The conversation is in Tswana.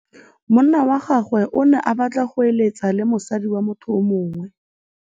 Monna wa gagwe o ne a batla go êlêtsa le mosadi wa motho yo mongwe.